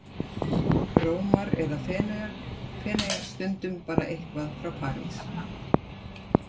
Rómar eða Feneyja, stundum bara eitthvað frá París.